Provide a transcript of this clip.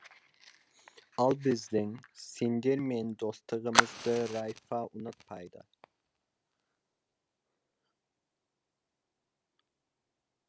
ал біздің сендермен достығымызды райфа ұнатпайды